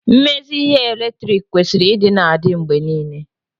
mmezi ihe eletriki kwesịrị ịdị na-adị mgbe niile